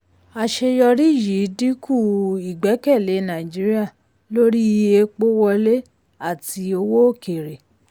àṣeyọrí yìí dínkù ìgbẹ́kẹ̀lé nàìjíríà lórí epo wọlé àti owó òkèèrè.